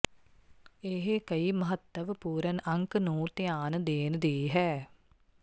ਇਹ ਕਈ ਮਹੱਤਵਪੂਰਨ ਅੰਕ ਨੂੰ ਧਿਆਨ ਦੇਣ ਦੀ ਹੈ